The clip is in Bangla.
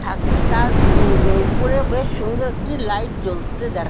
থাক তার উ-উ উপরের বেশ সুন্দর একটি লাইট জ্বলতে দেখ --